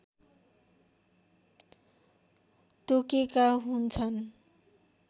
तोकेका हुन्छन्